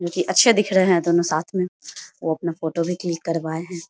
जो कि अच्छे दिख रहे है दोनों साथ में वो अपना फोटो भी क्लिक करवाए है।